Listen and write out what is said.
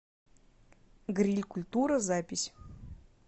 гриль культура запись